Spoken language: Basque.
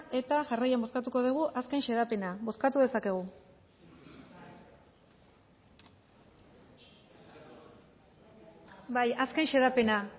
eta jarraian bozkatuko dugu azken xedapena bozkatu dezakegu bai azken xedapena